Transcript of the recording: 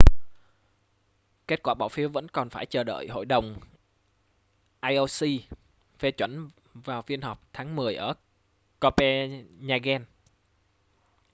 kết quả bỏ phiếu vẫn còn phải chờ đại hội đồng ioc phê chuẩn vào phiên họp tháng mười ở copenhagen